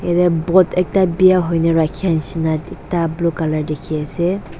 yate boat ekta bia hoi na rakhia nisna ekta blue colour dikhi ase.